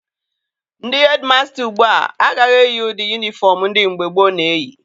Ndị hedịmasta ugbua agaghị eyi ụdị yunifọm ndị mgbe gboo na-eyi.